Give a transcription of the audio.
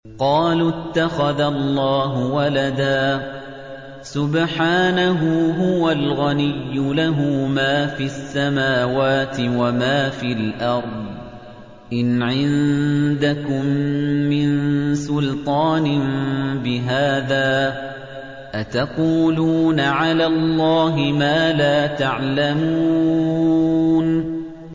قَالُوا اتَّخَذَ اللَّهُ وَلَدًا ۗ سُبْحَانَهُ ۖ هُوَ الْغَنِيُّ ۖ لَهُ مَا فِي السَّمَاوَاتِ وَمَا فِي الْأَرْضِ ۚ إِنْ عِندَكُم مِّن سُلْطَانٍ بِهَٰذَا ۚ أَتَقُولُونَ عَلَى اللَّهِ مَا لَا تَعْلَمُونَ